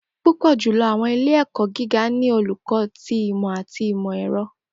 Pupọ julọ Awọn ile-ẹkọ giga ni Oluko ti Imọ ati Imọ-ẹrọ